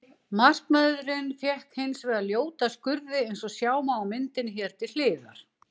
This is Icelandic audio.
Markvörðurinn fékk hins vegar ljóta skurði eins og sjá má á myndinni hér til hliðar.